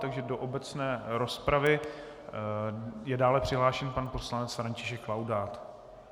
Takže do obecné rozpravy je dále přihlášen pan poslanec František Laudát.